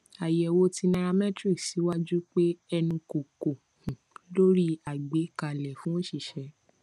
ayewo ti nairametrics siwaju pe enu ko ko um lori agbekale fun oṣiṣẹ